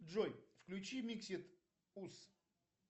джой включи миксед ус